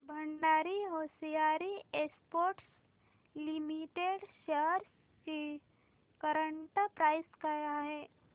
Bhandari hosiery exports limited shares ची current price काय आहे